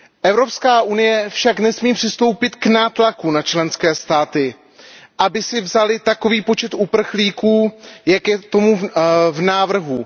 Evropská unie však nesmí přistoupit k nátlaku na členské státy, aby si vzaly takový počet uprchlíků, jak je tomu v návrhu.